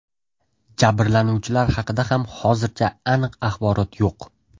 Jabrlanuvchilar haqida ham hozircha aniq axborot yo‘q.